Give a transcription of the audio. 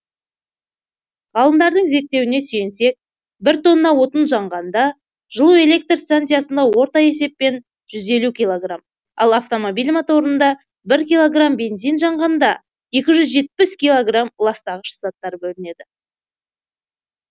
ғалымдардың зерттеуіне сүйенсек бір тонна отын жанғанда жылу электр станциясында орта есеппен жүз елу кг ал автомобиль моторында бір килограмм бензин жанғанда екі жүз жетпіс килограмм ластағыш заттар бөлінеді